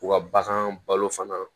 U ka bagan balo fana